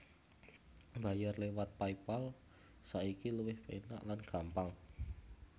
Mbayar lewat Paypal saiki luwih penak lan gampang